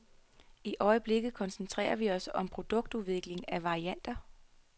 I øjeblikket koncentrerer vi os om produktudvikling af varianter.